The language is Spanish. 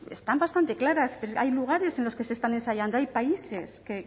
están bastante claras hay lugares en los que se están ensayando hay países que